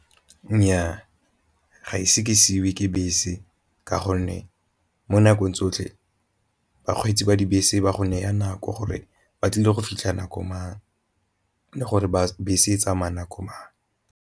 Nnyaa, ga ise ke seiwe ke bese ka gonne mo nakong tsotlhe bakgweetsi ba dibese ba gonne ya nako gore ba tlile go fitlha nako mang le gore ba bese e tsamaya nako mang.